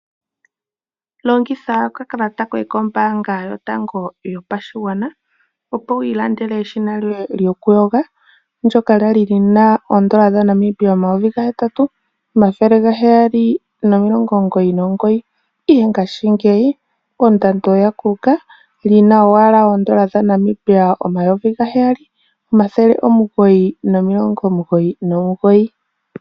Longitha okakalata koye kombaanga yotango yopashigwana, opo wu ilandele eshina lyoye lyokuyoga ndyoka lya lyina N$8799.00 ihe ngaashingeyi ondando oya kulu ka li na owala N$ 7999.00